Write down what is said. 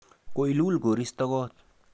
Kailul koristo kot.